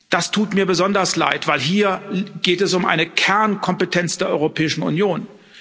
Das tut mir besonders leid, denn hier geht es um eine Kernkompetenz der Europäischen Union.